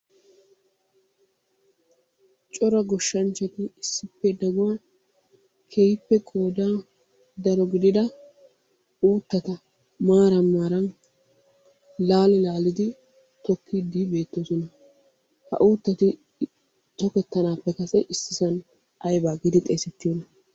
Cora goshshanchati issippe daguwan keehippe qoodan daro gidida uuttata maaran maaran laali laalidi tokkiidi beettoosona. Ha uuttati tokettanaappe kase issisan ayba gidi xeesettiyoona?